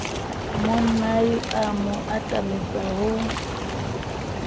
monnae a mo atametsa ho